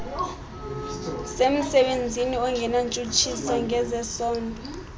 semsebenzini ongenantshutshiso ngezesondo